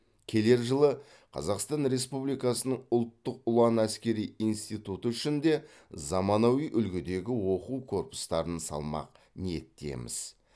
келер жылы қазақстан республикасының ұлттық ұлан әскери институты үшін де заманауи үлгідегі оқу корпустарын салмақ ниеттеміз